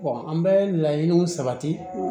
an bɛ laɲiniw sabati